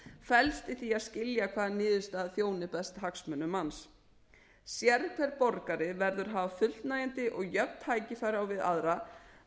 felst í því að skilja hvaða niðurstaða þjóni best hagsmunum manns sérhver borgari verður að hafa fullnægjandi og jöfn tækifæri á við aðra